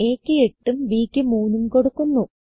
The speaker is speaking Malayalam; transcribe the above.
aക്ക് 8ഉം b ക്ക് 3ഉം കൊടുക്കുന്നു